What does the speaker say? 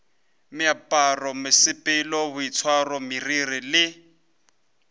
meaparo mesepelo boitshwaro meriri le